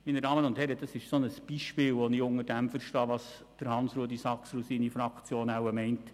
Dies ist ein Beispiel für das, was ich unter dem verstehe, was Grossrat Saxer und seine Fraktion wohl meinen.